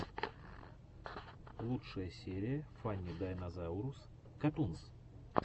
лучшая серия фанни дайнозаурус катунс